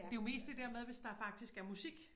Det jo mest det der med hvis der faktisk er musik